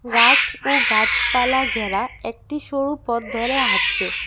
গাছ ও গাছপালা ঘেরা একটি সরু পথ ধরে হাঁটছে।